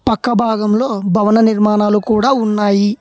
పక్క భాగంలో భవన నిర్మాణాలు కూడా ఉన్నాయి.